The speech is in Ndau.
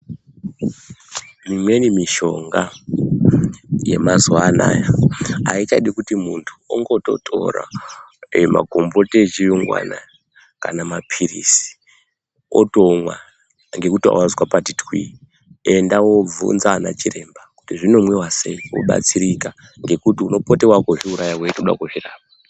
Imweni mishonga yemazuva anaya haichadi kuti muntu ongototora magomboti echiyungu anaya kana maphilizi otomwa ngekuti wazwa pati twi. Enda woobvunza ana chiremba kuti zvinomwiwa sei, wobatsirika. Ngekuti unopote waakuzviuraya weitoda kuzvirapa.